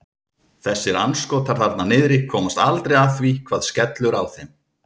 Þessir andskotar þarna niðri komast aldrei að því hvað skellur á þeim.